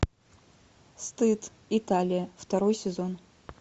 стыд италия второй сезон